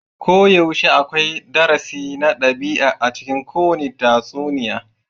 Koyaushe akwai darasi na ɗabi'a a cikin kowane tatsuniya.